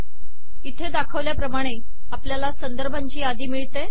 इथे दाखवल्याप्रमाणे आपल्याला संदर्भांची यादी मिळते